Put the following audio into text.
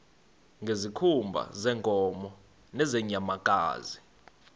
ngezikhumba zeenkomo nezeenyamakazi